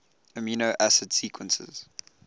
amino acid sequences